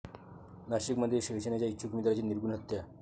नाशिकमध्ये शिवसेनेच्या इच्छुक उमेदवाराची निर्घृण हत्या